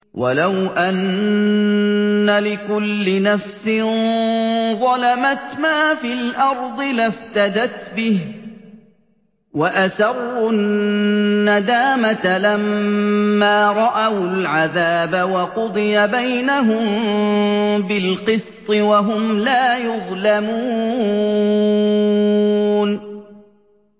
وَلَوْ أَنَّ لِكُلِّ نَفْسٍ ظَلَمَتْ مَا فِي الْأَرْضِ لَافْتَدَتْ بِهِ ۗ وَأَسَرُّوا النَّدَامَةَ لَمَّا رَأَوُا الْعَذَابَ ۖ وَقُضِيَ بَيْنَهُم بِالْقِسْطِ ۚ وَهُمْ لَا يُظْلَمُونَ